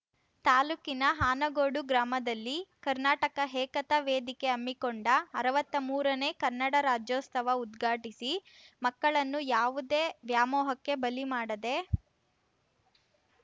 ತಾಲೂಕಿನ ಆನಗೋಡು ಗ್ರಾಮದಲ್ಲಿ ಕರ್ನಾಟಕ ಏಕತಾ ವೇದಿಕೆ ಹಮ್ಮಿಕೊಂಡ ಅರ್ವಾತ್ತಾ ಮೂರನೇ ಕನ್ನಡ ರಾಜ್ಯೋತ್ಸವ ಉದ್ಘಾಟಿಸಿ ಮಕ್ಕಳನ್ನು ಯಾವುದೇ ವ್ಯಾಮೋಹಕ್ಕೆ ಬಲಿ ಮಾಡದೇ